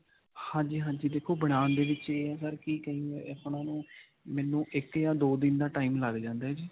ਹਾਂਜੀ, ਹਾਂਜੀ. ਦੇਖੋ ਬਣਾਉਣ ਦੇ ਵਿੱਚ ਇਹ ਹੈਗਾ ਕਿ ਕਹੀਏ ਨੂੰ ਮੈਨੂੰ ਇੱਕ ਜਾਂ ਦੋ ਦਿਨ ਦਾ time ਲਗ ਜਾਂਦਾ ਹੈ ਜੀ.